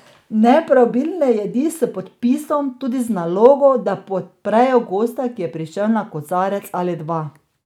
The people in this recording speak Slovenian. Ne preobilne jedi s podpisom, tudi z nalogo, da podprejo gosta, ki je prišel na kozarec ali dva.